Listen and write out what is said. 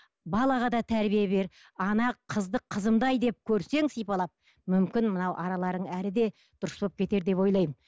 балаға да тәрбие бер ана қызды қызымдай деп көрсең сипалап мүмкін мынау араларың әлі де дұрыс болып кетер деп ойлаймын